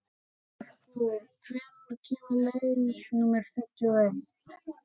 Merkúr, hvenær kemur leið númer fimmtíu og eitt?